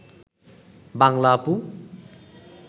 বাংলা আপু